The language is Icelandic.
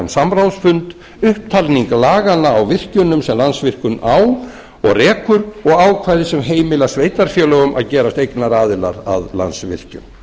samráðsfund upptalning laganna á virkjunum sem landsvirkjun á og rekur og ákvæði sem heimila sveitarfélögum að gerast eignaraðilar að landsvirkjun